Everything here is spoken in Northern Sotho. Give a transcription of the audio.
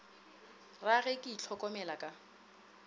ra ge ke itlhokomela ka